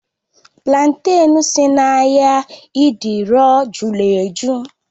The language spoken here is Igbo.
Platen si n'ahịa idioro jụrụ ejụ́